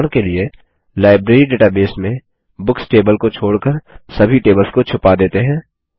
उदाहरण के लिए लाइब्रेरी डेटाबेस में बुक्स टेबल को छोड़कर सभी टेबल्स को छुपा देते हैं